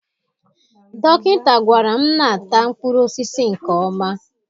Dokinta gwara m na-ata mkpụrụosisi nke ọma